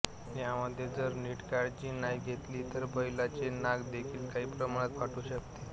यामध्ये जर नीट काळजी नाही घेतली तर बैलाचे नाक देखील काही प्रमाणात फाटू शकते